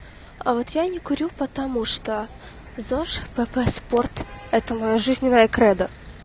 а вот я не курю потому что зож пп спорт это моё жизненное кредо